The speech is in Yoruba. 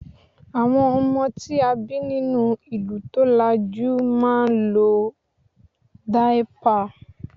àwọn ọmọ tí a bi ninu ìlú tolaju ma n lo daipa